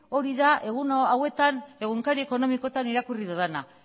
hori da egun hauetan egunkari ekonomikoetan irakurri dudana